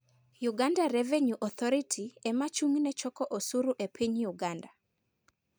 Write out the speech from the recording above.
Uganda Revenue Authority ema ochung' ne choko osuru e piny Uganda.